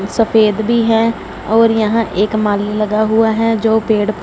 सफेद भी हैं और यहां एक माली लगा हुआ है जो पेड़--